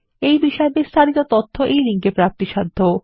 এই বিষয় বিস্তারিত তথ্য এই লিঙ্ক এ প্রাপ্তিসাধ্য